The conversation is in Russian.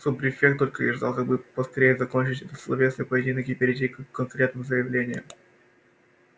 суб-префект только и ждал как бы поскорее закончить этот словесный поединок и перейти к конкретным заявлениям